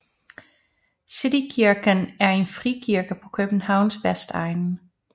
City Kirken er en frikirke på Københavns vestegn